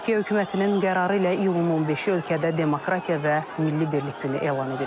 Türkiyə hökumətinin qərarı ilə iyulun 15-i ölkədə Demokratiya və Milli Birlik Günü elan edilib.